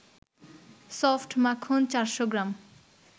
soft মাখন ৪০০ গ্রাম